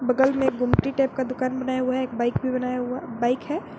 बगल में गुमती टाइप का दुकान बनाया हुआ है एक बाइक भी बनाया हुआ बाइक है।